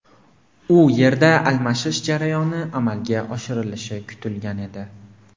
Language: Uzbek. U yerda almashish jarayoni amalga oshirilishi kutilgan edi.